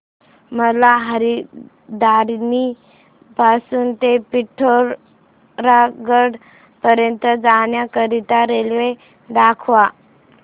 मला हलद्वानी पासून ते पिठोरागढ पर्यंत जाण्या करीता रेल्वे दाखवा